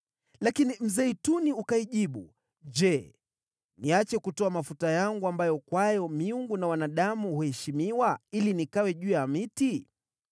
“Lakini mzeituni ukaijibu, ‘Je, niache kutoa mafuta yangu ambayo kwake miungu na wanadamu huheshimiwa, ili nikawe juu ya miti?’